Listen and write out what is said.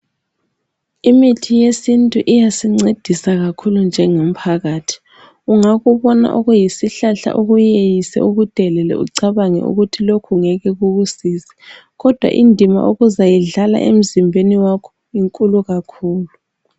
Imithi yesintu iyasincedisa kakhulu njengomphakathi , ungakubona okuyisihlahla ukuyeyise ukudelele ucabange ukuthi lokhu ngeke kukusize kodwa indima okuzayidlala emzimbeni wakho inkhulu kakhulu.